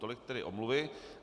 Tolik tedy omluvy.